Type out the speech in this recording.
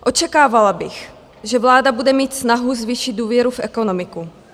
Očekávala bych, že vláda bude mít snahu zvýšit důvěru v ekonomiku.